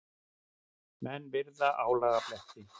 Menn virða álagabletti.